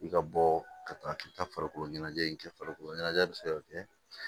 I ka bɔ ka taa k'i taa farikolo ɲɛnajɛ in kɛ farikolo ɲɛnajɛ bɛ se ka kɛ